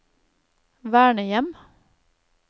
vernehjem